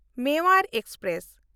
Mewar express